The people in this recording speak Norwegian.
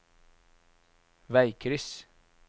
veikryss